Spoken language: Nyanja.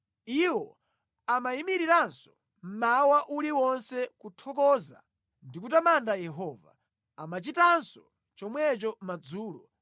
Iwo amayimiriranso mmawa uliwonse kuthokoza ndi kutamanda Yehova. Amachitanso chomwecho madzulo,